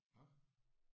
Nåh